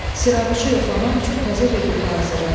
Siranuşu yoxlamaq üçün təzə bir qutu hazırladı.